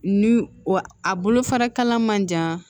Ni wa a bolofara kala man jan